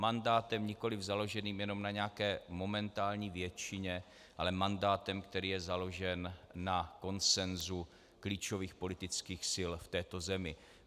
Mandátem nikoliv založeným jenom na nějaké momentální většině, ale mandátem, který je založen na konsenzu klíčových politických sil v této zemi.